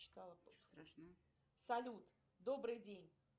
салют добрый день